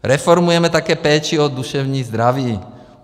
Reformujeme také péči o duševní zdraví.